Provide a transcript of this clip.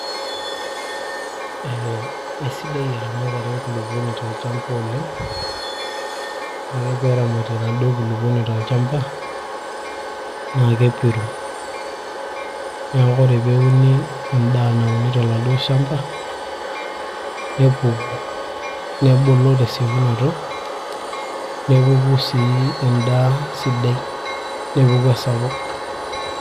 Eee aisidai eramatare enkulupuoni tolchamba oleng ore ake peeramati enaduo kulupuoni tolchamba naa kepiru neeku ore peeuni endaa nauni toladuo shamba nepuku nebulu tesiokinoto nepuku sii endaa sidai nepuku esapuk.